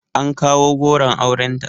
An kawo goron aurenta